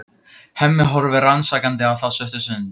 Hemmi horfir rannsakandi á þá stutta stund.